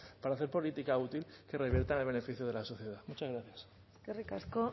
para hacer política útil que revierta en el beneficio de la sociedad muchas gracias eskerrik asko